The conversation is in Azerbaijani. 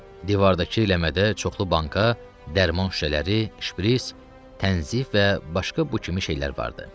Divardakı ləmədə çoxlu banka, dərman şüşələri, şpris, tənzif və başqa bu kimi şeylər vardı.